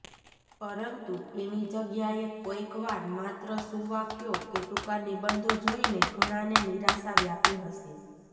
પરંતુ એની જગ્યાએ કોઈક વાર માત્ર સૂવાક્યો કે ટૂંકા નિબંધો જોઈને ઘણાને નિરાશા વ્યાપી હશે